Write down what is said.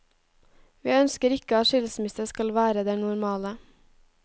Vi ønsker ikke at skilsmisse skal være det normale.